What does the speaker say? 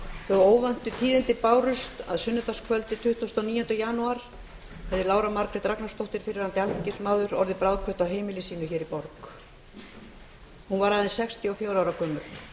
þau óvæntu tíðindi bárust að sunnudagskvöldið tuttugasta og níunda janúar hefði lára margrét ragnarsdóttir fyrrverandi alþingismaður orðið bráðkvödd á heimili sínu hér í borg hún var aðeins sextíu og fjögurra ára gömul